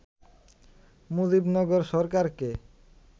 মুজিবনগর সরকারকে